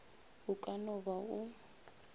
o ka no ba o